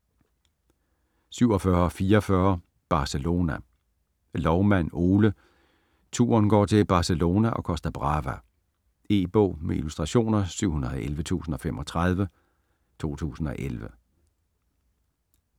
47.44 Barcelona Loumann, Ole: Turen går til Barcelona & Costa Brava E-bog med illustrationer 711035 2011.